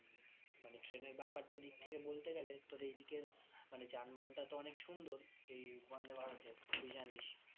মানে train এর ব্যাপারটার দিক থেকে বলতে গেলে তোর এইদিকের মানে যানবাহনটা তো অনেক সুন্দর এই বন্দেভারত এর তুই জানিস